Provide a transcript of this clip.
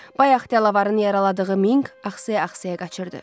Bayaq Delavarın yaraladığı Minq axsaya-axsaya qaçırdı.